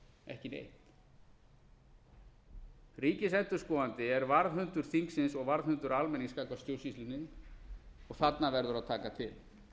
ekki neitt ríkisendurskoðandi er varðhundur þingsins og varðhundur almennings gagnvart stjórnsýslunni og þarna verður að taka til